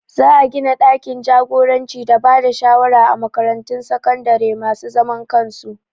Za a gina ɗakin jagoranci da bada shawara a makaratun sakandare masu zaman kansu